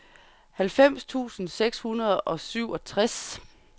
halvfems tusind seks hundrede og syvogtres